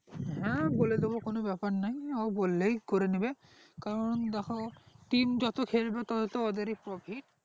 হ্যাঁ বলে দিবো কোনো ব্যাপার না অ বললেই করে নেবে কারণ দেখো team যত খেলবে তত তাদেরই profit